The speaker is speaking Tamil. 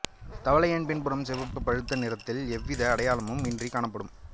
தவளையின் பின்புறம் சிவப்பு பழுப்பு நிறத்தில் எவ்வித அடையாளமும் இன்றி காணப்படும்